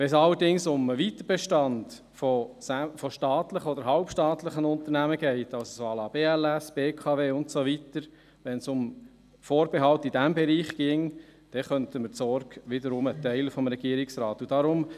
Wenn es allerdings um den Weiterbestand von staatlichen oder halbstaatlichen Unternehmen geht – also BLS, BKW und so weiter –, wenn es um Vorbehalte in diesem Bereich ginge, könnten wir die Sorge des Regierungsrates wiederum teilen.